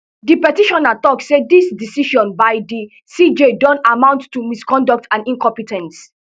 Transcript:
di petitioner tok say dis decision by di cj don amount to misconduct and incompe ten ce